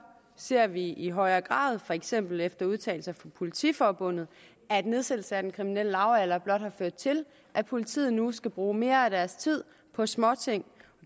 ser vi i højere grad for eksempel efter udtalelser fra politiforbundet at nedsættelse af den kriminelle lavalder blot har ført til at politiet nu skal bruge mere af deres tid på småting